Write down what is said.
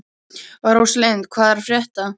Rósalind, hvað er að frétta?